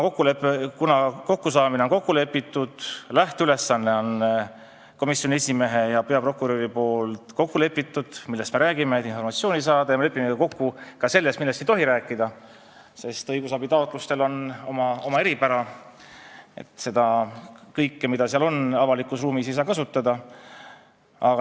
Kokkusaamine on kokku lepitud, lähteülesanne, millest me räägime, et informatsiooni saada, on komisjoni esimehel ja peaprokuröril kokku lepitud, ja me lepime kokku ka selles, millest ei tohi rääkida, sest õigusabitaotlustel on oma eripära, kõike, mis seal kirjas on, ei saa avalikus ruumis kasutada.